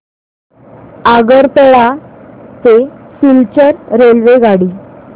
आगरतळा ते सिलचर रेल्वेगाडी